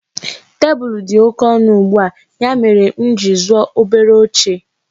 Tebụl dị oke ọnụ ugbua, ya mere m ji zụọ obere oche.